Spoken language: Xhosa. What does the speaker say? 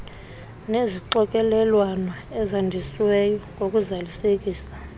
nezixokelelwano ezandisiweyo ngokuzalisekisa